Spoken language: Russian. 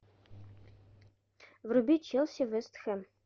вруби челси вест хэм